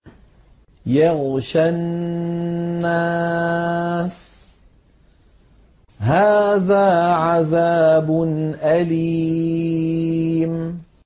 يَغْشَى النَّاسَ ۖ هَٰذَا عَذَابٌ أَلِيمٌ